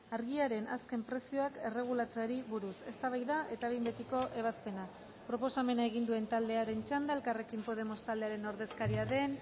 argiaren azken prezioak erregulatzeari buruz eztabaida eta behin betiko ebazpena proposamena egin duen taldearen txanda elkarrekin podemos taldearen ordezkaria den